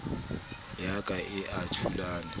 ya ka e a thulama